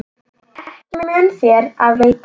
Ekki mun þér af veita.